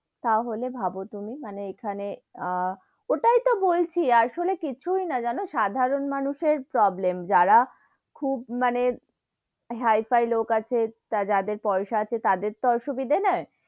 তাহলে ভাব তুমি মানে এখানে, আহ ওটাই তো বলছি আসলে কিছুই না যেন সাধারণ মানুষের problem যারা খুব মানে high-fi লোক আছে, বা যাদের পয়সা আছে তাদের তো অসুবিধে নেই,